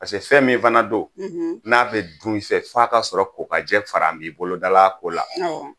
fɛn min fana don n'a bɛ dun f'a ka sɔrɔ kokajɛ fara n b'i bolodala a ko la